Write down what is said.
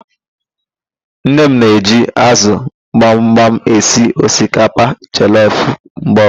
Nne m na-eji ázụ̀ gbamgbam esi osikapa jọlọf mgbe ọbụla